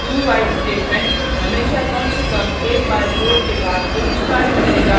dowhile statement हमेशा कम से कम एक बार कोड के भाग को निष्पदित करेगा